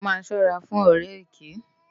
Má sòrá fún òrè èkè